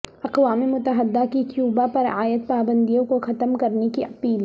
اقوام متحدہ کی کیوبا پرعائد پابندیوں کو ختم کرنے کی اپیل